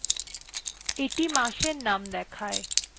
এইটি মাসের name দেয়